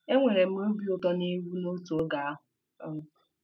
Enwere m obi ụtọ na egwu n'otu oge ahụ. um